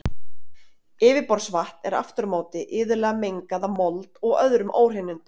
Yfirborðsvatn er aftur á móti iðulega mengað af mold og öðrum óhreinindum.